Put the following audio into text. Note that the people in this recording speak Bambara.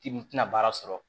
Timinan baara sɔrɔ